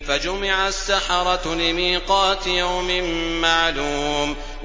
فَجُمِعَ السَّحَرَةُ لِمِيقَاتِ يَوْمٍ مَّعْلُومٍ